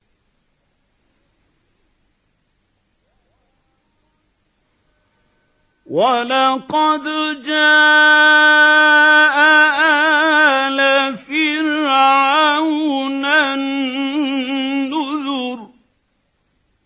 وَلَقَدْ جَاءَ آلَ فِرْعَوْنَ النُّذُرُ